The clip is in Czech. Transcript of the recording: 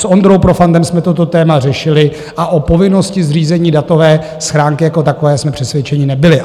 S Ondrou Profantem jsme toto téma řešili a o povinnosti zřízení datové schránky jako takové jsme přesvědčeni nebyli.